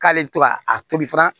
K'ale bɛ to ka a tobi fana